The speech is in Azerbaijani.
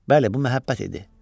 Bəli, bu məhəbbət idi.